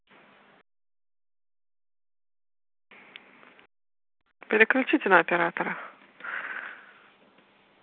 переключить на оператора